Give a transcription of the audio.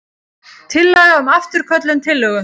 Tillaga um afturköllun tillögu.